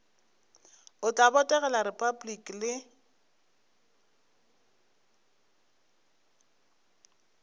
o tla botegela repabliki le